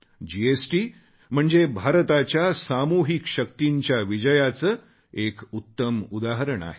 GST म्हणजे भारताच्या सामूहिक शक्तींच्या विजयाचे एक उत्तम उदाहरण आहे